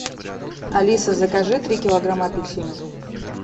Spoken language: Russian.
алиса закажи три килограмма апельсинов